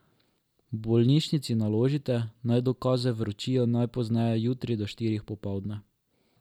Bolnišnici naložite, naj dokaze vročijo najpozneje jutri do štirih popoldne.